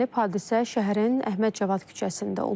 Hadisə şəhərin Əhməd Cavad küçəsində olub.